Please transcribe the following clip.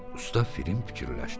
Usta Film fikirləşdi.